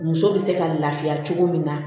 Muso bɛ se ka lafiya cogo min na